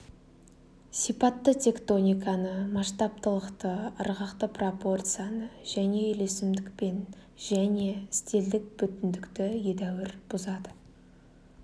сипатты тектониканы масштабтылықты ырғақты пропорцияны және үйлесімдік және стильдік бүтіндікті едәуір бұзады